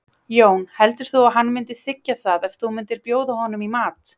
Jón: Heldur þú að hann myndi þiggja það ef þú myndir bjóða honum í mat?